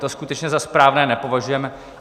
To skutečně za správné nepovažujeme.